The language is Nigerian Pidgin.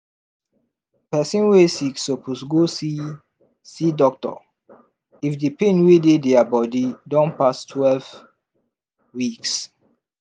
person wey sick suppose go see see doctor if the pain wey dey dia body don pass twelve weeks